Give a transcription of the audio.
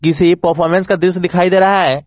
किसी परफॉर्मेंस का दृश्य दिखाई दे रहा है।